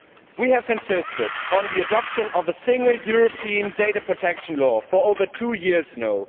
We have been insisting on the adoption of a single European data protection law for over two years now.